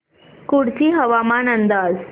कुडची हवामान अंदाज